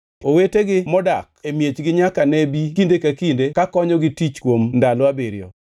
Owetegi modak e miechgi nyaka ne bi kinde ka kinde kakonyogi tich kuom ndalo abiriyo.